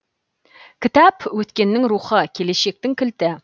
кітап өткеннің рухы келешектің кілті